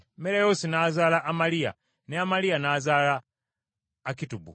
Merayoosi n’azaala Amaliya, ne Amaliya n’azaala Akitubu;